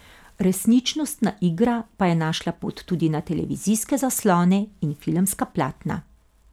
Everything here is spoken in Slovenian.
Resničnostna igra pa je našla pot tudi na televizijske zaslone in filmska platna.